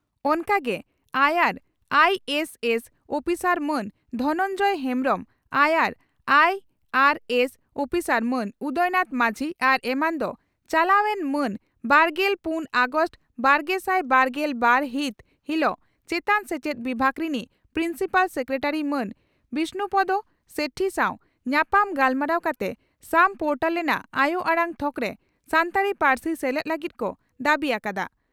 ᱚᱱᱠᱟ ᱜᱮ ᱟᱭᱟᱨ ᱟᱭᱤᱹᱮᱥᱹᱮᱥᱹ ᱩᱯᱤᱥᱟᱨ ᱢᱟᱱ ᱫᱷᱚᱱᱚᱱᱡᱚᱭ ᱦᱮᱢᱵᱽᱨᱚᱢᱹ ᱟᱭᱟᱨ ᱟᱭᱤᱹᱟᱨᱹᱮᱥᱹ ᱩᱯᱤᱥᱟᱨ ᱢᱟᱹᱱ ᱩᱫᱚᱭ ᱱᱟᱛᱷ ᱢᱟᱹᱡᱷᱤ ᱟᱨ ᱮᱢᱟᱱ ᱫᱚ ᱪᱟᱞᱟᱣ ᱮᱱ ᱢᱟᱹᱱ ᱵᱟᱨᱜᱮᱞ ᱯᱩᱱ ᱟᱜᱚᱥᱴ ᱵᱟᱨᱜᱮᱥᱟᱭ ᱵᱟᱨᱜᱮᱞ ᱵᱟᱨ ᱦᱤᱛ ᱦᱤᱞᱚᱜ ᱪᱮᱛᱟᱱ ᱥᱮᱪᱮᱫ ᱵᱤᱵᱷᱟᱹᱜᱽ ᱨᱤᱱᱤᱡ ᱯᱨᱤᱱᱥᱤᱯᱟᱞ ᱥᱮᱠᱨᱮᱴᱟᱨᱤ ᱢᱟᱱ ᱵᱤᱥᱱᱩᱯᱚᱫᱚ ᱥᱮᱴᱷᱤ ᱥᱟᱣ ᱧᱟᱯᱟᱢ ᱜᱟᱞᱢᱟᱨᱟᱣ ᱠᱟᱛᱮ ᱥᱟᱢ ᱯᱚᱨᱴᱟᱞ ᱨᱮᱱᱟᱜ ᱟᱭᱚ ᱟᱲᱟᱝ ᱛᱷᱚᱠᱨᱮ ᱥᱟᱱᱛᱟᱲᱤ ᱯᱟᱹᱨᱥᱤ ᱥᱮᱞᱮᱫ ᱞᱟᱹᱜᱤᱫ ᱠᱚ ᱫᱟᱹᱵᱤ ᱟᱠᱟᱫᱼᱟ ᱾